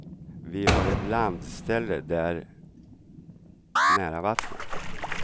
Vi har ett landställe där, nära vattnet.